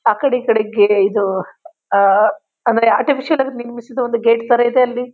ಆಕಡೆ ಈಕಡೆ ಗ್ಯೆ ಇದು ಆ ಆಮೇಲೆ ಆರ್ಟಿಫಿಷಿಯಲ್ ಆಗಿ ನಿರ್ಮಿಸಿದ ಒಂದು ಗೇಟ್ ತರಾ ಇದೆ ಅಲ್ಲಿ.